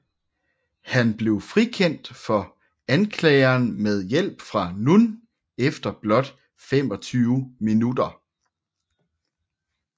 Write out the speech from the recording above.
Han blev frikendt for anklageren med hjælp fra Nunn efter blot 25 minutter